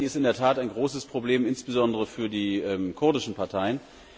Sie ist in der Tat ein großes Problem, insbesondere für die kurdischen Parteien.